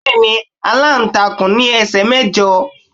Bẹ́ẹ̀ni, aláǹtakùn ní ẹsẹ̀ mẹ́jọ